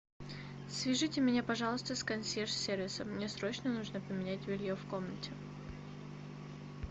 свяжите меня пожалуйста с консьерж сервисом мне срочно нужно поменять белье в комнате